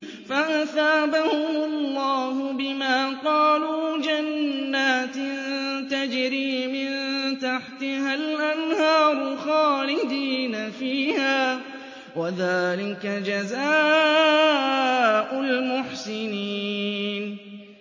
فَأَثَابَهُمُ اللَّهُ بِمَا قَالُوا جَنَّاتٍ تَجْرِي مِن تَحْتِهَا الْأَنْهَارُ خَالِدِينَ فِيهَا ۚ وَذَٰلِكَ جَزَاءُ الْمُحْسِنِينَ